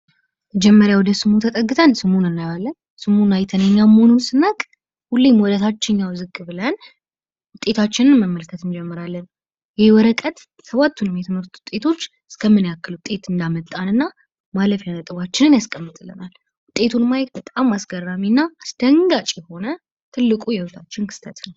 መጀመሪያ ወደ ስሙ ተጠግተን ስሙን እናየዋለን ስሙን አይተን እኛ መሆኑን ስናቅ ሁሌም ወደ ታችኛው ዝቅ ብለን ውጤታችን መመልከት እንጀምራለን። ይህ ወረቀት ሰባቱንም የትምህርት ውጤቶች እስከ ምን ያክል ውጤት እናመጣለን እና ማለፊያ ነጥቦችን ያስቀምጣል። ውጤቱን ማየት አስገራሚ እና አስደንጋጭ የሆነ ትልቁ የህይወታችን ክስተት ነው።